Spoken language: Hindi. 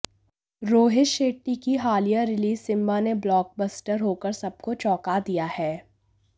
रोहित शेट्टी की हालिया रिलीज सिंबा ने ब्लॉकबस्टर होकर सबको चौंका दिया है